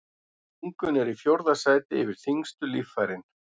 Lungun eru í fjórða sæti yfir þyngstu líffærin.